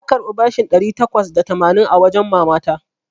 Na karɓi bashin ɗari takwas da tamanin a wajen mama ta.